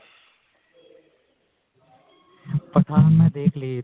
ਪਠਾਨ ਮੈਂ ਦੇਖਲੀ